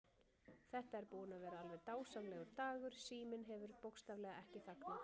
Þetta er búinn að vera alveg dásamlegur dagur, síminn hefur bókstaflega ekki þagnað.